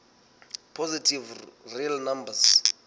positive real numbers